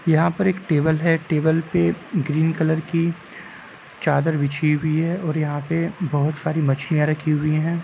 यहाँ पे एक टेबल है। टेबल पे ग्रीन कलर की चादर बिछी हुई है और यहाँ पे बहुत सारी मछलियां रखी हुई हैं।